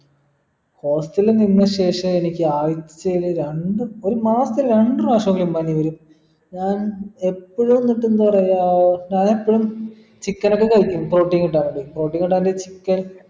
hostel നിന്ന ശേഷം എനിക്ക് ആഴ്ചയിൽ രണ്ട് ഒരു മാസത്തിൽ രണ്ടു പ്രാവശെങ്കിലും പനി വരും ഞാൻ എപ്പോഴും എന്നിട്ട് എന്ത് പറയാ ഞാൻ എപ്പഴും chicken ഒക്കെ കഴിക്കും protein കിട്ടാൻ വേണ്ടിക്ക് protein കിട്ടാൻ വേണ്ടി chicken